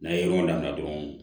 N'an ye yɔrɔ dan dɔrɔn